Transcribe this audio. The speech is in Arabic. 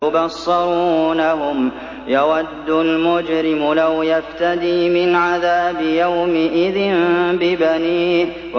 يُبَصَّرُونَهُمْ ۚ يَوَدُّ الْمُجْرِمُ لَوْ يَفْتَدِي مِنْ عَذَابِ يَوْمِئِذٍ بِبَنِيهِ